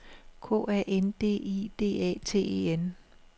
K A N D I D A T E N